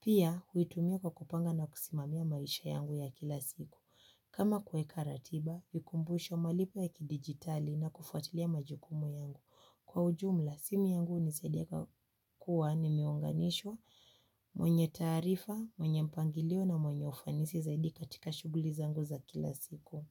Pia, huitumia kwa kupanga na kusimamia maisha yangu ya kila siku. Kama kuweka ratiba, vikumbusho malipo ya kidijitali na kufuatilia majukumu yangu. Kwa ujumla simu yangu hunisaidia kuwa nimeunganishwa mwenye taarifa, mwenye mpangilio na mwenye ufanisi zaidi katika shughuli zangu za kila siku.